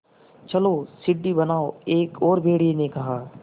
चलो सीढ़ी बनाओ एक और भेड़िए ने कहा